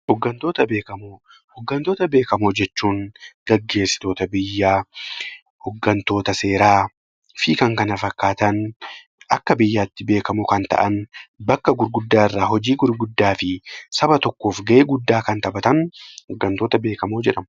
Hooggantoota beekamoo jechuun gaggeessitoota biyyaa hooggantoota seeraa fi kan kana fakkaatan Akka biyyaatti beekamoo kan ta'an Akka biyyaatti hojii gurguddaa fi hojii tokkoof gahee guddaa kan taphatan hooggantoota beekamoo jedhamu